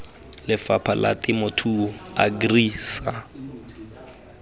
lefapha la temothuo agri sa